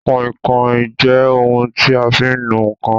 Kàinkàin jẹ́ ohun tí a fi ń nu ǹkan